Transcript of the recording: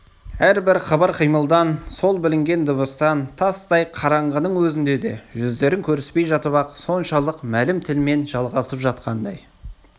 әрбір қыбыр-қимылдан сол білінген дыбыстан тастай қараңғының өзінде де жүздерін көріспей жатып-ақ соншалық мәлім тілмен жалғасып жатқандай